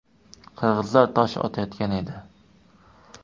Qirg‘izlar tosh otayotgan edi.